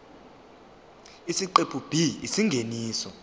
isiqephu b isingeniso